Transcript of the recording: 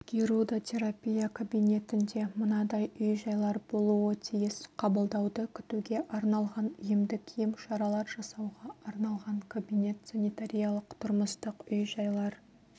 гирудотерапия кабинетінде мынадай үй-жайлар болуы тиіс қабылдауды күтуге арналған емдік емшаралар жасауға арналған кабинет санитариялық-тұрмыстық үй-жайлар